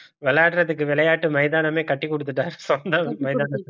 விளையாடுறதுக்கு விளையாட்டு மைதானமே கட்டி குடுத்துட்டாரு சொந்தம் மைதானம்